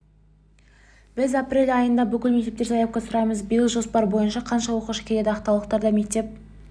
біз апрель айында бүкіл мектептерден заявка сұраймыз биыл жоспар бойынша қанша оқушы келеді ақтаулықтар да мектеп